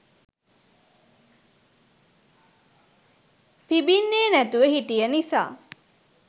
පිඹින්නේ නැතුව හිටිය නිසා